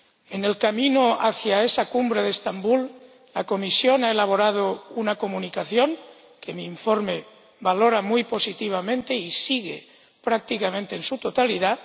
En el camino hacia esa Cumbre de Estambul, la Comisión ha elaborado una Comunicación, que mi informe valora muy positivamente y sigue prácticamente en su totalidad.